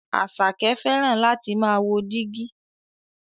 Àṣàkẹ́ fẹ́ràn láti máà wo dígí.